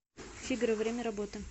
фигаро время работы